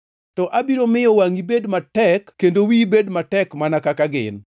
To abiro miyo wangʼi bed matek kendo wiyi bed matek mana kaka gin.